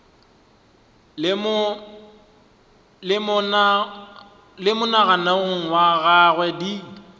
le monagano wa gagwe di